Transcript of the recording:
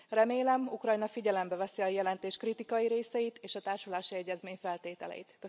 Remélem, Ukrajna figyelembe veszi a jelentés kritikai részeit és a társulási egyezmény feltételeit.